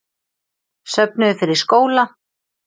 Söfnuðu fyrir skóla